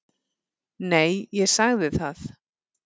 Nei, ég sagði það.